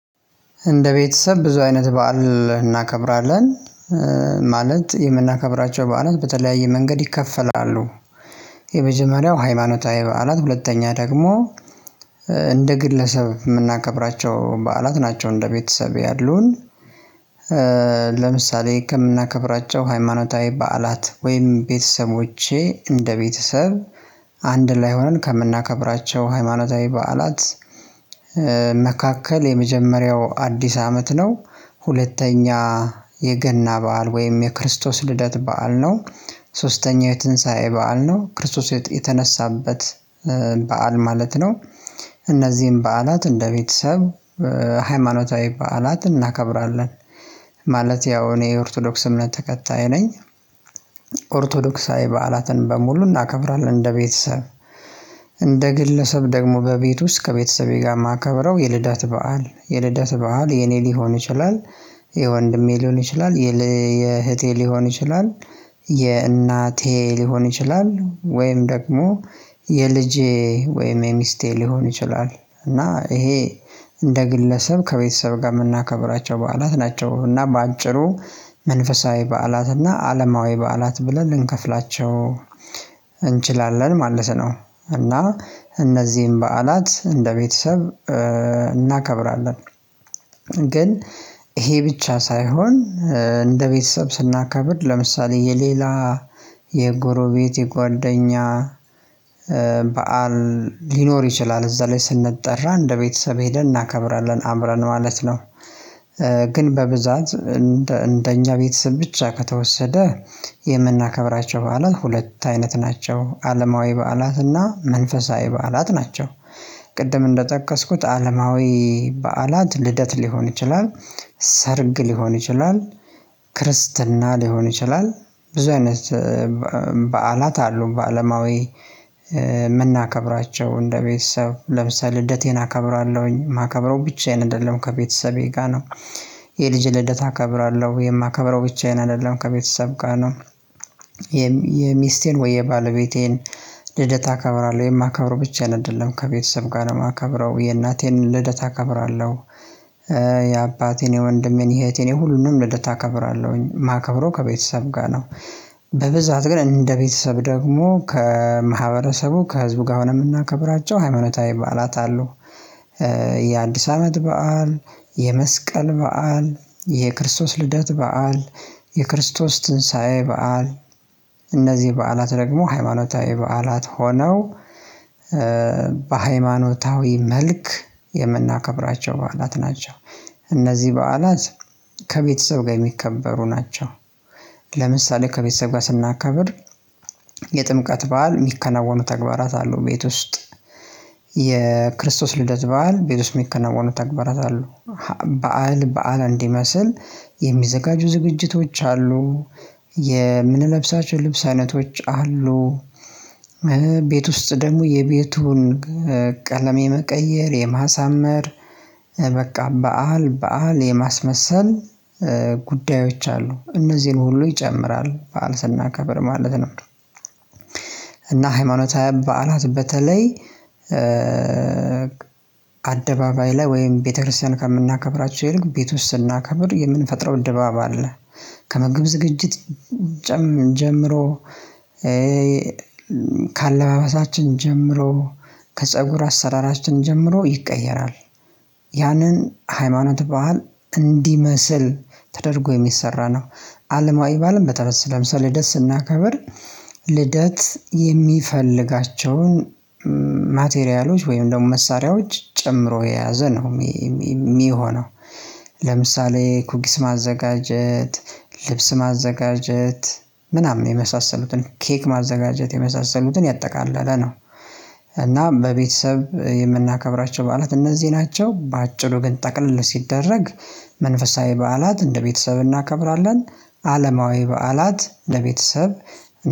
እንደ ቤተሰብ ብዙ አይነት በዓል እናከብራለን ማለት የምናከብራቸው በዓላት በተለያየ መንገድ ይካፈላሉ። የመጀመሪያው ሃይማኖታዊ በዓላት ሁለተኛ ደግሞ እንደ ግለሰብ የምናከብራቸው በዓላት ናቸው እንደ ቤተሰቤ ያሉን። ለምሳሌ ከምናከብራቸው ሃይማኖታዊ በዓላት ወይም ቤተሰቦቼ እንደ ቤተሰብ አንድ ላይ ሆነን ከምናከብራቸው ሃይማኖታዊ በዓላት መካከል የመጀመሪያው አዲስ አመት ነው። ሁለተኛ የገና በዓል ወይም የክርስቶስ ልደት በዓል ነው። ሶስተኛው የትንሳኤ በዓል ነው ክርስቶስ የተነሳበት በዓል ማለት ነው። እነዚህን በዓላት እንደ ቤተሰብ ሃይማኖታዊ በዓላት እናከብራለን። ማለት ያው እኔ የኦርቶዶክስ እምነት ተከታይ ነኝ። ኦርቶዶክሳዊ በዓላትን በሙሉ እናከብራለን እንደ ቤተሰብ። እንደ ግለሰብ ደግሞ በቤት ውስጥ ከቤተሰቤ ጋር ማከብረው የልደት በዓል፥ የልደት በዓል የኔ ሊሆን ይችላል፥ የወንድሜ ሊሆን ይችላል ፥የእህቴ ሊሆን ይችላል ፥የእናቴ ሊሆን ይችላል ወይም ደግሞ የልጄ ወይም የሚስቴ ሊሆን ይችላል። እና እሄ እንደ ግለሰብ ከቤተሰብ ጋር የምናከብራቸው በዓላት ናቸው። እና በአጭሩ መንፈሳዊ በዓላት እና አለማዊ በዓላት ብለን ልንከፍላቸው እንችላለን ማለት ነው። እና እነዚህን በዓላት እንደ ቤተሰብ እናከብራለን። ግን ይሄ ብቻ ሳይሆን እንደ ቤተሰብ ስናከብር ለምሳሌ የሌላ የጎሮቤት የጓደኛ በዓል ሊኖር ይችላል እዛ ላይ ስንጠራ እንደ ቤተሰብ ሄደን እናከብራለን አብረን ማለት ነው። ግን በብዛት እንደ እንደኛ ቤተሰብ ብቻ ከተወሰደ የምናከብራቸው በዓላት ሁለት አይነት ናቸው። አለማዊ በዓላትና መንፈሳዊ በዓላት ናቸው። ቅድም እንደጠቀስኩት አለማዊ በዓላት ልደት ሊሆን ይችላል፥ ሰርግ ሊሆን ይችላል፥ ክርስትና ሊሆን ይችላል ብዙ አይነት በዓላት አሉ በአለማዊ የምናከብራቸው እንደ ቤተሰብ ለምሳሌ ልደቴን አከብራለሁኝ የማከብረው ብቻዬን አይደለም ከቤተሰቤ ጋር ነው። የልጅ ልደት አከብራለሁ። የማከብረው ብቻዬን አይደለም ከቤተሰብ ጋር ነው። የሚስቴን ወይ የባለቤቴን ልደት አከብራለሁ የማከብረው ብቻ አይደለም ከቤተሰብ ጋር የማከብረው የእናቴን ልደት አከብራለሁ። የአባቴን የወንድሜን የእህቴን የሁሉንም ልደት አከብራለሁኝ ማከብረው ከቤተሰብ ጋር ነው። በብዛት ግን እንደ ቤተሰብ ደግሞ ከማህበረሰቡ ከህዝቡ ጋር ነው የምናከብራቸው። ሃይማኖታዊ ባዓላት አሉ። የአዲስ አመት በዓል፥ የመስቀል በዓል፥ የክርስቶስ ልደት በዓል፥ የክርስቶስ ትንሳኤ በዓል፥ እነዚህ በዓላት ደግሞ ሃይማኖታዊ በዓላት ሆነው በሃይማኖታዊ መልክ የምናከብራቸው በዓላት ናቸው። እነዚ በዓላት ከቤተሰብ ጋር የሚከበሩ ናቸው። ለምሳሌ ከቤተሰብ ጋር ስናከብር የጥምቀት በዓል የሚከናወኑ ተግባራት አሉ ቤት ውስጥ። የክርስቶስ ልደት በዓል ቤት ውስጥ ሚከናወኑ ተግባራት አሉ። በዓል በዓል እንዲመስል የሚዘጋጁ ዝግጅቶች አሉ። የምንለብሳቸው ልብስ አይነቶች አሉ። ቤት ውስጥ ደግሞ የቤቱን ቀለም የመቀየር የማሳመር በቃ በዓል በዓል የማስመሰል ጉዳዮች አሉ። እነዚህን ሁሉ ይጨምራል በዓል ስናከብር ማለት ነው። እና ሃይማኖታዊ በዓላት በተለይ አደባባይ ላይ ወይም ቤተክርስቲያን ከምናከብራቸው ይልቅ ቤት ውስጥ ስናከብር የምንፈጥረው ድባብ አለ። ከምግብ ዝግጅት ጀምሮ ፥ከአለባበሳችን ጀምሮ ከፀጉር አሰራራችን ጀምሮ ይቀየራል። ያንን ሃይማኖት በዓል እንዲመስል ተደርጎ የሚሰራ ነው። አለማዊ ባአልም በተለይ ለምሳሌ ልደት ስናከብር ልደት የሚፈልጋቸውን ማቴሪያሎች ወይም ደግሞ መሳሪያዎች ጨምሮ የያዘ ነው የሚሆነው። ለምሳሌ ኩኪስ ማዘጋጀት፥ ልብስ ማዘጋጀት፥ ምናምን የመሳሰሉትን ኬክ ማዘጋጀት የመሳሰሉትን ያጠቃለለ ነው። እና በቤተሰብ የምናከብራቸው በዓላት እነዚህ ናቸው። በአጭሩ ግን ጠቅለል ሲደረግ መንፈሳዊ በዓላት እንደ ቤተሰብ እናከብራለን። አለማዊ በዓላት ለቤተሰብ